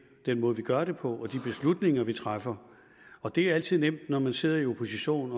den måde vi gør det på og de beslutninger vi træffer og det er altid nemt når man sidder i opposition